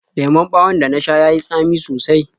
Lemon ɓawon da na sha ya yi tsami sosai.